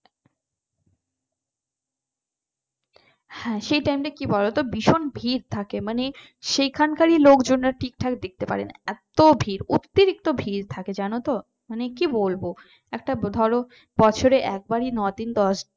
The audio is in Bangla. হ্যাঁ সেই টাইমটা কি বলতো ভীষণ ভিড় থাকে মানে সেখানকারই লোকজনেরা ঠিকঠাক দেখতে পায় না। এত ভিড় অতিরিক্ত ভিড় থাকে জানো তো মানে কি বলবো একটা ধরো বছরে একবারই নদিন দশ